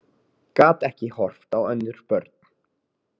Gat ekki horft á önnur börn